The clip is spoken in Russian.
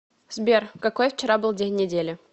сбер какой вчера был день недели